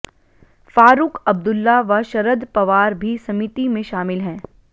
फारूक अब्दुल्ला व शरद पवार भी समिति में शामिल हैं